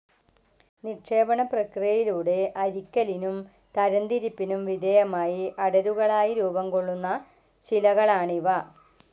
നിക്ഷേപണപ്രക്രിയയിലൂടെ അരിക്കലിനും തരംതിരിപ്പിനും വിധേയമായി അടരുകളായി രൂപം കൊള്ളുന്ന ശിലകളാണിവ.